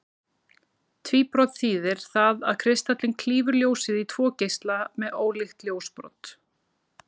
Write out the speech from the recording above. Tvíbrot þýðir það að kristallinn klýfur ljósið í tvo geisla með ólíkt ljósbrot.